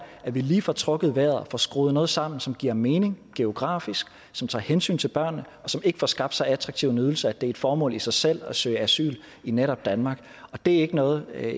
at vi lige får trukket vejret og får skruet noget sammen som giver mening geografisk som tager hensyn til børnene og som ikke får skabt så attraktiv en ydelse at det er et formål i sig selv at søge asyl i netop danmark og det er ikke noget der